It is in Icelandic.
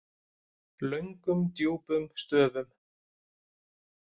Löngum djúpum stöfum.